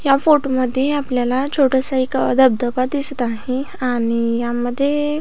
या फोटोमध्ये आपल्याला छोटासा एक धबधबा दिसत आहे आणि यामध्ये--